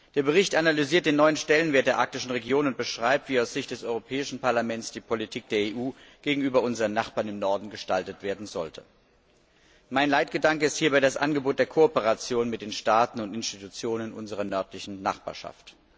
Der Bericht analysiert den neuen Stellenwert der arktischen Region und beschreibt, wie aus Sicht des Europäischen Parlaments die Politik der EU gegenüber unseren Nachbarn im Norden gestaltet werden sollte. Mein Leitgedanke ist hierbei das Angebot der Kooperation mit den Staaten und Institutionen unserer nördlichen Nachbarschaft.